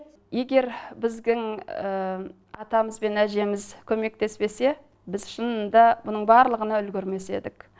егер біздің атамыз бен әжеміз көмектеспесе біз шынында мұның барлығына үлгермес едік